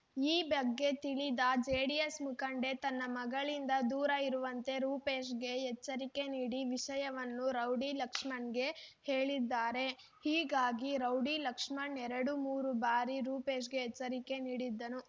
ಈ ಬಗ್ಗೆ ತಿಳಿದ ಜೆಡಿಎಸ್ ಮುಖಂಡೆ ತನ್ನ ಮಗಳಿಂದ ದೂರ ಇರುವಂತೆ ರೂಪೇಶ್‌ಗೆ ಎಚ್ಚರಿಕೆ ನೀಡಿ ವಿಷಯವನ್ನು ರೌಡಿ ಲಕ್ಷ್ಮಣ್‌ಗೆ ಹೇಳಿದ್ದರು ಹೀಗಾಗಿ ರೌಡಿ ಲಕ್ಷ್ಮಣ್ ಎರಡುಮೂರು ಬಾರಿ ರೂಪೇಶ್‌ಗೆ ಎಚ್ಚರಿಕೆ ನೀಡಿದ್ದನು